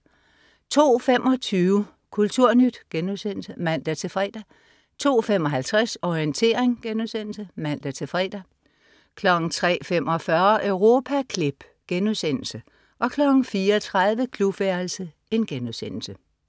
02.25 Kulturnyt* (man-fre) 02.55 Orientering* (man-fre) 03.45 Europaklip* 04.30 Klubværelset*